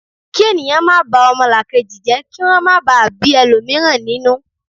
ki ènìyàn ma ba omolakeji je ki won máa ba bi elomiran ninu